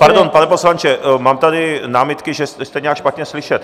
Pardon, pane poslanče, mám tady námitky, že jste nějak špatně slyšet.